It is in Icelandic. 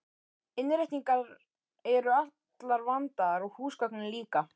Innréttingar eru allar vandaðar og húsgögnin líka.